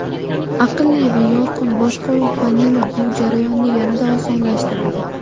Aqlli va yorqin boshqaruv paneli bu jarayonni yanada osonlashtiradi.